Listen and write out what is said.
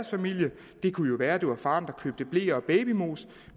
familie det kunne jo være det var faren der købte bleer og babymos